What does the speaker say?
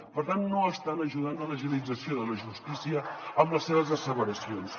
per tant no estan ajudant a l’agilització de la justícia amb les seves asseveracions